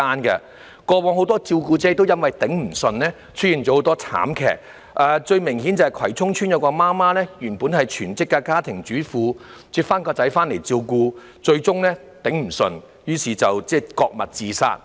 以往有很多照顧者因抵受不住而發生慘劇，最明顯是葵涌邨有位媽媽原本是全職家庭主婦，但從院舍接兒子回家照顧後，最終因抵受不住而割脈自殺。